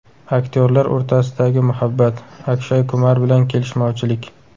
Aktyorlar o‘rtasidagi muhabbat, Akshay Kumar bilan kelishmovchilik.